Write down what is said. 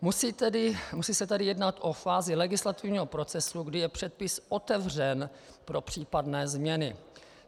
Musí se tedy jednat o fázi legislativního procesu, kdy je předpis otevřen pro případné změny.